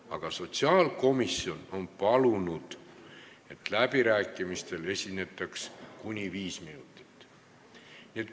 Aga sotsiaalkomisjon on palunud, et läbirääkimistel esinetaks kuni viis minutit.